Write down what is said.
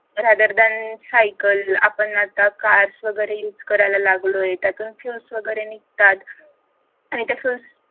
rather than cycle आपण आता cars वगैरे युस करायला लागलेलो त्यातून fuels वगैरे निघतात आणि त्या fuels